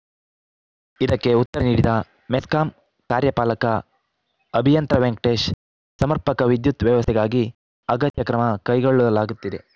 ಇದಕ್ಕೆ ಉತ್ತರ ನೀಡಿದ ಮೆಸ್ಕಾಂ ಕಾರ್ಯಪಾಲಕ ಅಭಿಯಂತರ ವೆಂಕಟೇಶ್‌ ಸಮರ್ಪಕ ವಿದ್ಯುತ್‌ ವ್ಯವಸ್ಥೆಗಾಗಿ ಅಗತ್ಯ ಕ್ರಮ ಕೈಗೊಳ್ಳಲಾಗುತ್ತಿದೆ